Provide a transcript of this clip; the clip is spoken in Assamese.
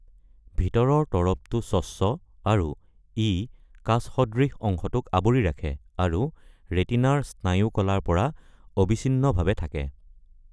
ভিতৰৰ তৰপটো স্বচ্ছ আৰু ই কাচ সদৃশ অংশটোক আবৰি ৰাখে, আৰু ৰেটিনাৰ স্নায়ু কলাৰ পৰা অবিচ্ছিন্নভাৱে থাকে।